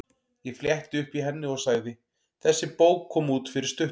Ég fletti upp í henni og sagði: Þessi bók kom út fyrir stuttu.